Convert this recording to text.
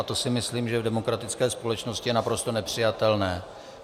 A to si myslím, že v demokratické společnosti je naprosto nepřijatelné.